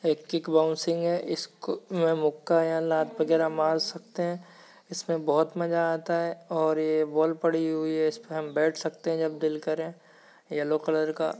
एक kick boxing है इसको मुक्का या लात वगैरा मार सकते है इसमे बहुत मजा आता है और ये बोल पड़ी हुई है इसमे हम बैठ सकते है जब दिल करे येल्लो कलर का।